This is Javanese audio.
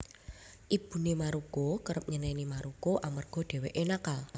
Ibune Maruko kerep nyeneni Maruko amarga dheweke nakal